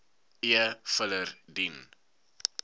e filer dien